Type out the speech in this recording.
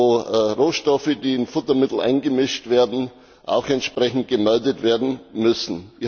in dem Rohstoffe, die in Futtermittel eingemischt werden, entsprechend gemeldet werden müssen.